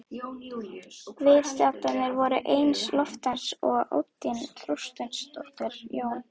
Viðstaddir voru Einar Loftsson og Oddný Þorsteinsdóttir, Jón